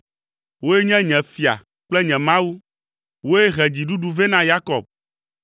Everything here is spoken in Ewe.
Wòe nye nye Fia kple nye Mawu, wòe he dziɖuɖuwo vɛ na Yakob.